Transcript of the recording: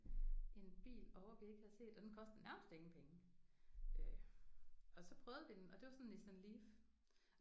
En bil ovre vi ikke havde set og den kostede nærmest ingen penge øh og så prøvede vi den og det var sådan en Nissan Leaf